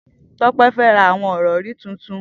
Tope fè rà awọn irọ̀ri tútún